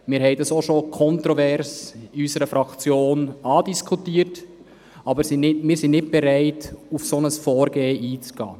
Wir haben dieses bereits kontrovers in unserer Fraktion andiskutiert, sind aber nicht bereit, auf ein solches Vorgehen einzugehen.